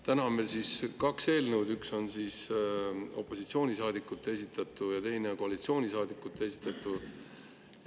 Täna on meil kaks eelnõu, üks on opositsioonisaadikute esitatu ja teine koalitsioonisaadikute esitatu.